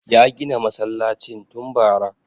Ya gina masallacin tun bara